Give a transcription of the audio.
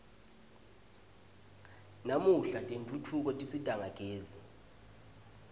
namuhla tentfutfuko tisisita ngagezi